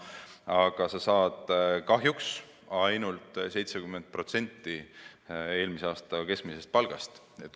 Aga kahjuks makstakse ainult 70% eelmise aasta keskmisest palgast.